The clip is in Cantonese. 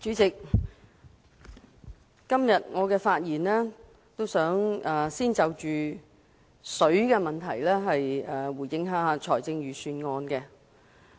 代理主席，我今天發言，先就食水問題對財政預算案作出回應。